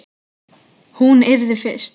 Hún yrði fyrst.